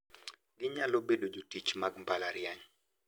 Ginyalo bedo jotich mag mbalariany.